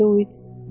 Dedi Uits.